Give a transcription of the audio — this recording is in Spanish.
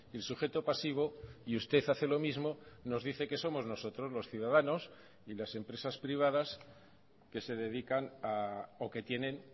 el sujeto pasivo y usted hace lo mismo nos dice que somos nosotros los ciudadanos y las empresas privadas que se dedican o que tienen